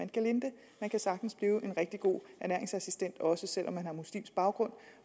gelinde man kan sagtens blive en rigtig god ernæringsassistent også selv om man har muslimsk baggrund